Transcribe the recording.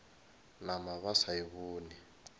nama ba sa e bone